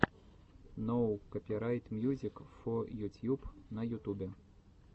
ноу копирайт мьюзик фо ютьюб на ютубе